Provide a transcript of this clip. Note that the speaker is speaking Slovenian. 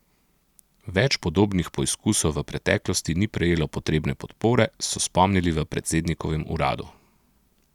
Več podobnih poizkusov v preteklosti ni prejelo potrebne podpore, so spomnili v predsednikovem uradu.